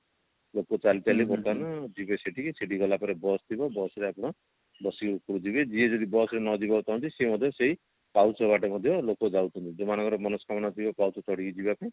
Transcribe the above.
ଲୋକ ଚାଲି ଚାଲି ବର୍ତମାନ ଯିବେ ସେଠିକି ସେଠିକି ଗଲା ପରେ bus ଥିବ bus ରେ ଆପଣ ବସିକି ଉପରକୁ ଯିବେ ଯିଏ bus ରେ ନଯିବାକୁ ଚାହୁଁଛି ସିଏ ମଧ୍ୟ ସେଇ ପାହୁଚ ବାଟେ ମଧ୍ୟ ଲୋକ ଯାଉଛନ୍ତି ଯୋଉ ମାନଙ୍କର ମନସ୍କାମନା ଥିବ ପାହୁଚ ଚଢିକି ଯିବା ପାଇଁ